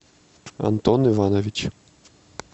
антон иванович